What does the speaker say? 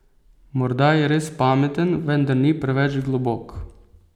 Morda je res pameten, vendar ni preveč globok.